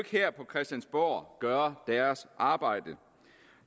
her på christiansborg gøre deres arbejde